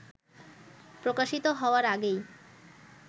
প্রকাশিত হওয়ার আগেই